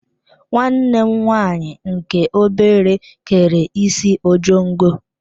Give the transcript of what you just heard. Nwanne m nwanyị nke obere kere isi ojongo.